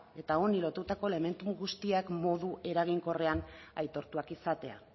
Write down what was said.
eta honi lotutako elementu guztiak modu eraginkorrean aitortuak izatea